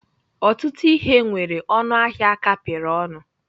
Ọtụtụ ihe nwere ọnụ ahịa a kapịrị ọnụ.